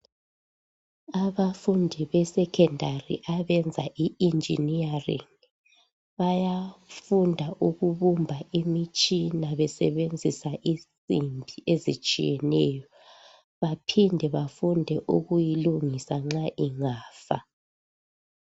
Abafundi besecondary abenza i engineering bayafunda ukubumba imitshina besebenzisa izinsimbi ezitshiyeneyo baphinde bafunde ukuyilungisa nxa ingafa.